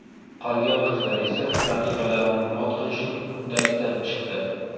Qolgan qizlar esa raqibalarini mot qilishning uddasidan chiqdi.